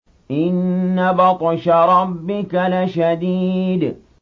إِنَّ بَطْشَ رَبِّكَ لَشَدِيدٌ